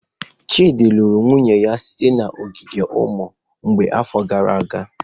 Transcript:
Chidi lụrụ nwunye ya site n'ogige ụmụ mgbei n'afọ gara aga.